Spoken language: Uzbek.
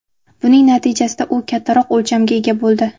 Buning natijasida u kattaroq o‘lchamga ega bo‘ldi.